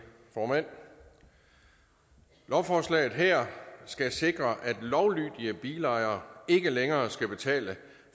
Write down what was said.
formand lovforslaget her skal sikre at lovlydige bilejere ikke længere skal betale